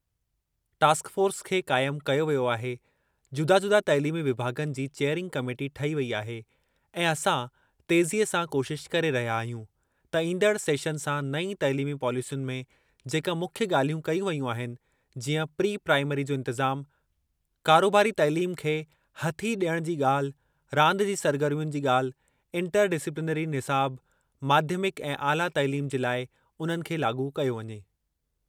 Task force खे क़ाइम कयो वियो आहे, जुदा-जुदा तइलीमी विभाग॒नि जी चेयरिंग कमेटी ठही वेई आहे ऐं असां तेज़ीअ सां कोशिश करे रहिया आहियूं त ईंदड़ सेशन सां नईं तइलिमी पॉलेसियुनि में जेका मुख्य ॻाल्हियूं कयूं वेयूं आहिनि जीअं प्री प्राइमरी जो इंतिज़ामु, कारोबारी तइलीम खे हथी डि॒यणु जी ॻाल्हि, रांदि जी सरगर्मियुनि जी ॻाल्हि, इंटर डिसिप्लिनरी निसाब माध्यमिक ऐं आला तइलीम जे लाइ उन्हनि खे लाॻू कयो वञे।